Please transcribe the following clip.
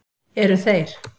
Eru þeir